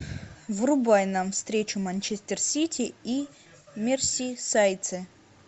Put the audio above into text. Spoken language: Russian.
врубай нам встречу манчестер сити и мерсисайдцы